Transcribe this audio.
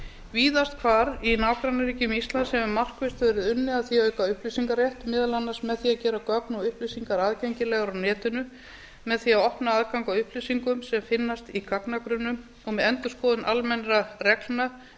víðast hvar í nágrannaríkjum íslands hefur markvisst verið unnið að því að auka upplýsingarétt meðal annars með því að gera gögn og upplýsingar aðgengilegar á netinu með því að opna aðgang að upplýsingum sem finnast í gagnagrunnum og með endurskoðun almennra reglna um